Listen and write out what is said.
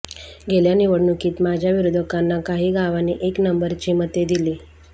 गेल्या निवडणुकीत माझ्या विरोधकांना काही गावांनी एक नंबरची मते दिली